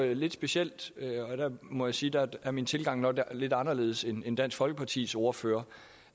er lidt specielt og der må jeg sige at min tilgang nok er lidt anderledes end end dansk folkepartis ordførers